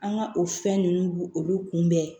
An ka o fɛn ninnu bu olu kunbɛn